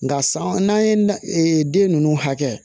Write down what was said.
Nka san n'an ye den ninnu hakɛ kɛ